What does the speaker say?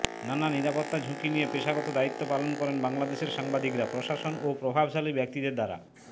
নানা নিরাপত্তা ঝুঁকি নিয়ে পেশাগত দায়িত্ব পালন করেন বাংলাদেশের সাংবাদিকরা প্রশাসন ও প্রভাবশালী ব্যক্তিদের দ্বারা